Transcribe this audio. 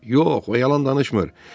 Yox, o yalan danışmır.